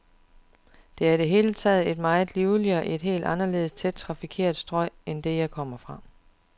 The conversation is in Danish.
Det er i det hele taget et meget livligere, et helt anderledes tæt trafikeret strøg end det, jeg kom fra.